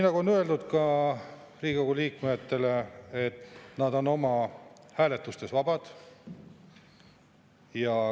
Nagu on öeldud ka Riigikogu liikmetele, nad on hääletustes vabad.